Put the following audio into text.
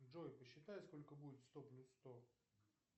джой посчитай сколько будет сто плюс сто